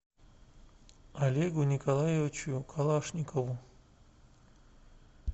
олегу николаевичу калашникову